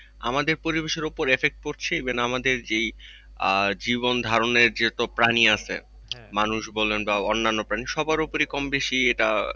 আমাদের পরিবেশের উপরে effect পড়ছে even আমদের যেই আহ জীবনধারণের যত প্রাণী আছে মানুষ বলেন বা অন্যান্য প্রাণীর সবার উপরে কমবেশি এটা,